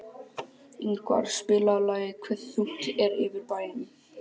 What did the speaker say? Ingvar, spilaðu lagið „Hve þungt er yfir bænum“.